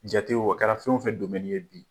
Jate wo, a kɛra fɛn wo fɛn ye bi.